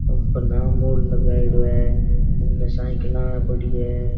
अपना नाम बोर्ड लगायेड़ो है इन साइकिला पड़ी है।